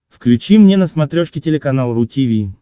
включи мне на смотрешке телеканал ру ти ви